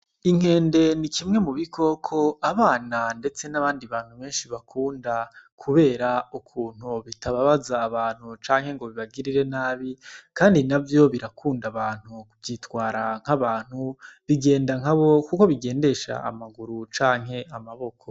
Inkende ni kimwe mubikoko abana ndetse n' abandi bantu benshi bakunda kubera ukuntu bitababaza abantu kandi navyo birakunda abantu vyitwara nk'abantu kuko bigendesha amaguru canke amaboko.